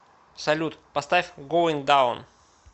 салют поставь гоинг даун